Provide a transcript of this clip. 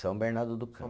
São Bernardo do Campo.